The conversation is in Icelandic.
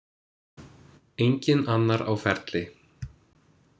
Enginn annar á ferli.